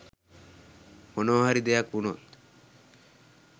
මොනවහරි දෙයක් වුණොත්